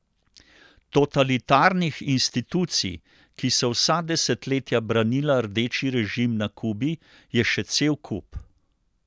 Totalitarnih institucij, ki so vsa desetletja branila rdeči režim na Kubi, je še cel kup.